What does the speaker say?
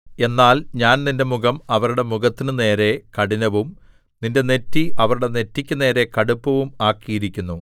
എന്നാൽ ഞാൻ നിന്റെ മുഖം അവരുടെ മുഖത്തിനുനേരെ കഠിനവും നിന്റെ നെറ്റി അവരുടെ നെറ്റിക്കു നേരെ കടുപ്പവും ആക്കിയിരിക്കുന്നു